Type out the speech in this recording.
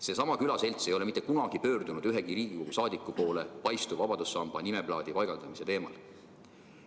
Seesama külaselts ei ole mitte kunagi pöördunud ühegi Riigikogu liikme poole Paistu vabadussamba juurde nimeplaatide paigaldamise teemal.